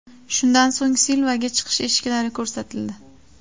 Shundan so‘ng Silvaga chiqish eshiklari ko‘rsatildi.